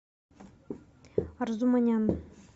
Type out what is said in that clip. арзуманян